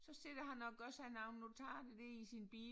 Så sidder han og gør sig nogle notater dér i sin bil